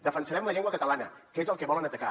defensarem la llengua catalana que és el que volen atacar